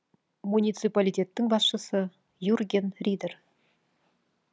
муниципалитеттің басшысы юрген ридер